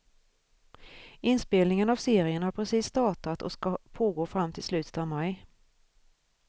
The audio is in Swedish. Inspelningen av serien har precis startat och ska pågå fram till slutet av maj.